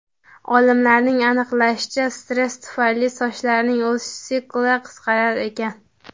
Olimlarning aniqlashicha, stress tufayli sochlarning o‘sish sikli qisqarar ekan.